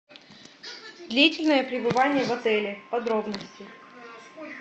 длительное пребывание в отеле подробности